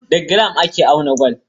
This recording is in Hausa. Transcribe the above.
Da giram ake auna gwal.